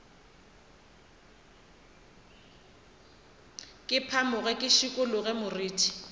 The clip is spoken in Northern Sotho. ke phamoge ke šikologe moriti